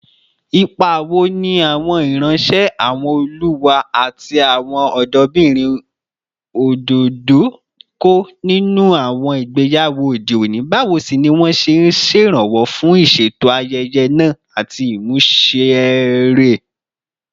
Ipa wo ni àwọn ìránṣẹ́, àwọn olùwá, àti àwọn ọ̀dọ́bìnrin òdòdó ń kó nínú àwọn ìgbéyàwó òde òní, báwo sì ni wọ́n ṣe ń ṣèrànwọ́ fún ìṣètò ayẹyẹ náà àti ìmúṣẹ rẹ̀?